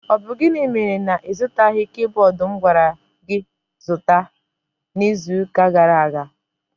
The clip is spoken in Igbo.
Ọ bụ gịnị mere na ịzụtaghi kaiboodu m gwara gị zụta n'iziuka gara aga?